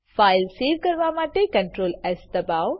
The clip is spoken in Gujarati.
ફાઈલ સેવ કરવા માટે CtrlS દબાઓ